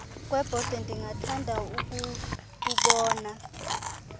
kwebhote ndingathanda ukukubona